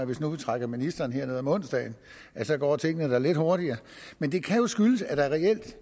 hvis nu vi trækker ministeren herned om onsdagen så går tingene da lidt hurtigere men det kan jo skyldes at det reelt